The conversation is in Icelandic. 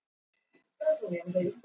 Rósa ung og upprennandi.